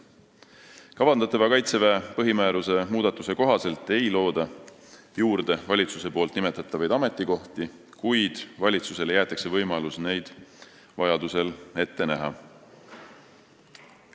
Kavandatava Kaitseväe põhimääruse muudatuse kohaselt ei looda juurde valitsuse nimetatavaid ametikohti, kuid valitsusele jäetakse võimalus neid vajaduse korral ette näha.